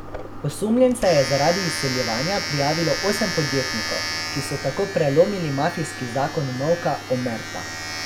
Osumljence je zaradi izsiljevanja prijavilo osem podjetnikov, ki so tako prelomili mafijski zakon molka omerta.